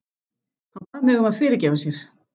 Hann bað mig um að fyrirgefa sér.